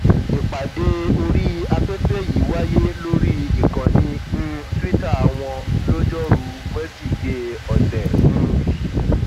ìpàdé orí afẹfẹ yìí wáyé lórí ìkànnì um tuita wọn lojoruu wesidee ọsẹ um yìí